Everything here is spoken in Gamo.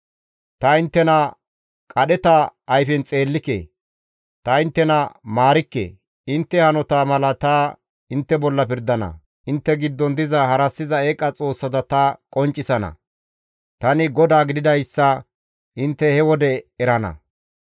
Ta inttena qadheta ayfen xeellike; ta inttena maarikke; intte hanota mala ta intte bolla pirdana; intte giddon diza harassiza eeqa xoossata ta qonccisana; tani GODAA gididayssa intte he wode erana.